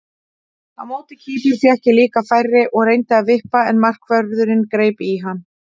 Á móti Kýpur fékk ég líka færi og reyndi að vippa en markvörðurinn greip hann.